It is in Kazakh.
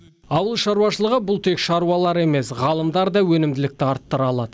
ауыл шаруашылығы бұл тек шаруалар емес ғалымдар да өнімділікті арттыра алады